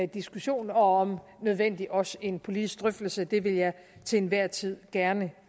diskussionen og om nødvendigt også en politisk drøftelse det vil jeg til enhver tid gerne